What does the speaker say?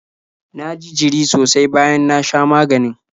Na ji jiri sosai bayan na sha maganin.